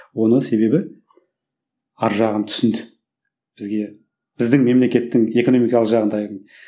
оның себебі арғы жағын түсінді бізге біздің мемлекеттің экономикалық жағдайын